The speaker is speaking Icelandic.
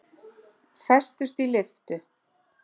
Festust í lyftu